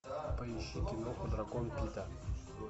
поищи кино дракон пита